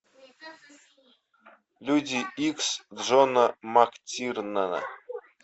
люди икс джона мактирнана